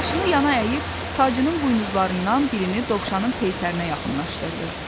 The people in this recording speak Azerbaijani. Başını yana əyib tacının buynuzlarından birini dovşanın peysərinə yaxınlaşdırdı.